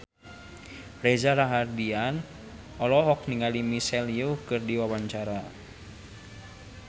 Reza Rahardian olohok ningali Michelle Yeoh keur diwawancara